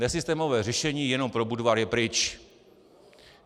Nesystémové řešení jenom pro Budvar je pryč.